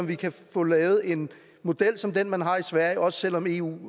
vi kan få lavet en model som den man har i sverige også selv om eu